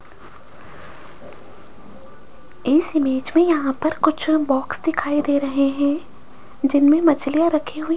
इस इमेज में यहां पर कुछ बॉक्स दिखाई दे रहे हैं जिनमें मछलियां रखी हुई --